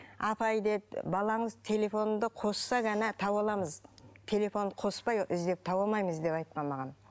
апай деді балаңыз телефонды қосса ғана таба аламыз телефонды қоспай іздеп таба алмаймыз деп айтқан маған